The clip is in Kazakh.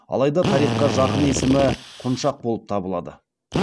алайда тарихқа жақын есімі құншақ болып табылды